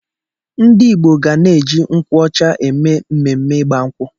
Ndị igbo ga na-eji nkwuọcha eme mmemme ịgba nkwụ